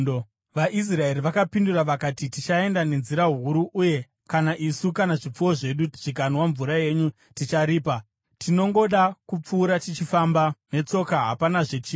VaIsraeri vakapindura vakati: “Tichaenda nenzira huru, uye kana isu kana zvipfuwo zvedu zvikanwa mvura yenyu, ticharipa. Tinongoda kupfuura tichifamba netsoka, hapanazve chimwe.”